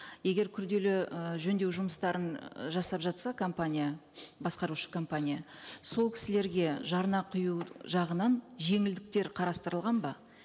егер күрделі ы жөндеу жұмыстарын жасап жатса компания басқарушы компания сол кісілерге жарна кұю жағынан жеңілдіктер қарастырылған ба